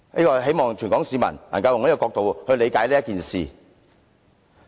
我希望全港市民都能以這角度理解此事。